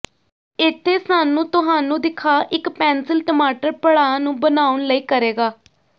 ਇੱਥੇ ਸਾਨੂੰ ਤੁਹਾਨੂੰ ਦਿਖਾ ਇੱਕ ਪੈਨਸਿਲ ਟਮਾਟਰ ਪੜਾਅ ਨੂੰ ਬਣਾਉਣ ਲਈ ਕਰੇਗਾ